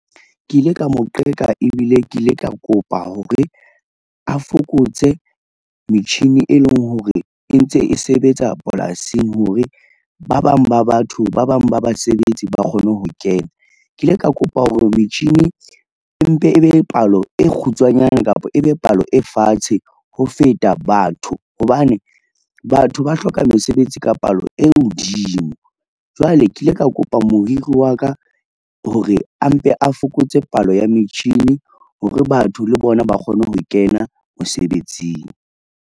Ke ile ka mo qeka ebile ke ile ka kopa hore, a fokotse metjhini e leng hore e ntse e sebetsa polasing hore ba bang ba basebetsi ba kgone ho kena. Ke ile ka kopa hore metjhini e mpe ebe palo e kgutshwanyane kapa ebe palo e fatshe ho feta batho hobane, batho ba hloka mesebetsi ka palo e hodimo. Jwale ke ile ka kopa mohiri wa ka hore a mpe a fokotse palo ya metjhini hore batho le bona ba kgone ho kena mosebetsing.